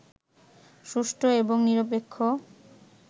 সুষ্ঠু এবং নিরপেক্ষ